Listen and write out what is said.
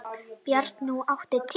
Bjarnrún, áttu tyggjó?